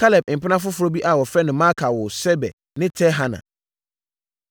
Kaleb mpena foforɔ bi a wɔfrɛ no Maaka woo Seber ne Tirhana.